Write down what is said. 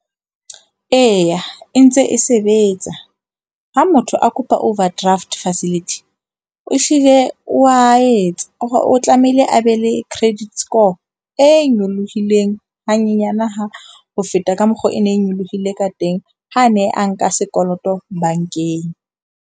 Eya, e ntse e sebetsa. Ha motho a kopa overdraft facility o ehlile wa etsa o tlamehile a be le credit score e nyolohileng hanyenyana ha ho feta ka mokgo e ne e nyolohile ka teng ha ne a nka sekoloto bankeng.